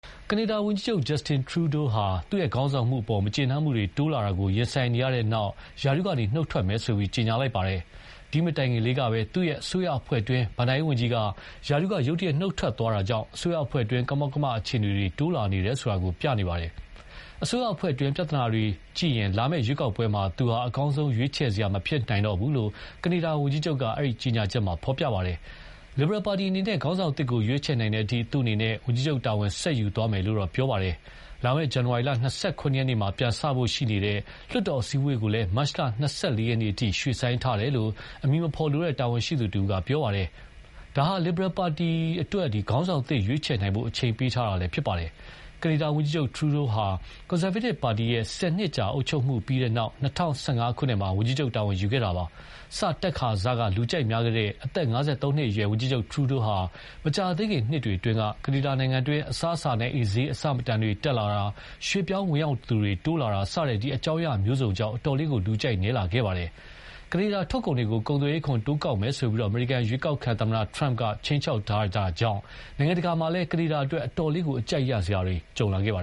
ကနေဒါဝန်ကြီးချုပ် Justin Trudeau ဟာ သူခေါင်းဆောင်မှုအပေါ် မကျေနပ်မှုတွေ တိုးလာတာကို ရင်ဆိုင်နေရတဲ့နောက်၊ ရာထူးကနေ နုတ်ထွက်မယ်လို့ ကြေညာလိုက်ပါတယ်။ ဒီမတိုင်ခင်လေးပဲ သူ့အစိုးရအဖွဲ့အတွင်း ဘဏ္ဍာရေးဝန်ကြီးက ရာထူးက ရုတ်တရက်နုတ်ထွက်သွားတာကြောင့်၊ အစိုးရအဖွဲ့အတွင်း ကမောက်ကမ အခြေအနေတွေ တိုးလာနေတယ်ဆိုတာ ပြနေပါတယ်။ အစိုးရအဖွဲ့အတွင်းပြဿနာတွေကိုကြည့်ရင် လာမယ့်ရွေးကောက်ပွဲမှာ သူဟာ အကောင်းဆုံးရွေးချယ်စရာမဖြစ်နိုင်တော့ဘူးလို့ ကနေဒါဝန်ကြီးချုပ်က အဲဒီ ကြေညာချက်မှာဖော်ပြပါတယ်။ လစ်ဘရယ်ပါတီအနေနဲ့ ခေါင်းဆောင်သစ်ကို ရွေးချယ်နိုင်တဲ့အထိ သူအနေနဲ့ ဝန်ကြီးချုပ်တာဝန်ဆက်ယူသွားမယ်လို့တော့ ပြောပါတယ်။ လာမယ့် ဇန်နဝါရီလ ၂၇ ရက်နေ့မှာ ပြန်စဖို့ ရှိတဲ့ လွှတ်တော်အစည်းအဝေးကိုလည်း မတ်လ ၂၄ ရက်နေ့အထိ ရွှေ့ဆိုင်းလိုက်တယ်လို့ အမည်မဖော်လိုတဲ့ တာဝန်ရှိသူတဦးက ပြောပါတယ်။ ဒါဟာ လစ်ဘရယ်ပါတီအတွက် ခေါင်းဆောင်သစ် ရွေးချယ်နိုင်ဖို့ အချိန်ပေးတာဖြစ်ပါတယ်။ ကနေဒါဝန်ကြီးချုပ် Trudeau ဟာ ကွန်ဆာဗေးတစ်ပါတီရဲ့ ၁၀ နှစ်ကြာအုပ်ချုပ်မှုပြီးတဲ့နောက် ၂၀၁၅ ခုနှစ်မှာ ဝန်ကြီးချုပ်တာဝန်ယူခဲ့တာပါ။ စတက်ခါစက လူကြိုက်များခဲ့တဲ့ အသက် ၅၃ နှစ်အရွယ် ဝန်ကြီးချုပ် Trudeau ဟာ မကြာသေးခင်နှစ်တွေအတွင်းက ကနေဒါနိုင်ငံတွင်း အစားအစာနဲ့အိမ်ဈေးအဆမတန်တက်လာတာ၊ ရွှေ့ပြောင်းဝင်ရောက်သူတွေ တိုးလာတာ စတဲ့ အကြောင်းအရာမျိုးစုံကြောင့် အတော်လေး လူကြိုက်နည်းလာခဲ့ပါတယ်။ ကနေဒါထုတ်ကုန်တွေကို ကုန်သွယ်ခွန်တိုးကောက်မယ်ဆိုပြီး အမေရိကန်ရွေးကောက်ခံသမ္မတ Trump က ခြိမ်းခြောက်တာကြောင့် နိုင်ငံတကာမှာလည်း ကနေဒါအတွက် အတော်လေး အကြပ်ရိုက်စရာတွေ ကြုံလာခဲ့တာပါ